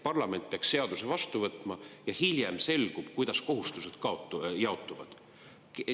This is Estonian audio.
Parlament seaduse vastu võtma ja hiljem selgub, kuidas kohustused jaotuvad.